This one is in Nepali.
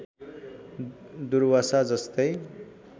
दुर्वासा जस्तै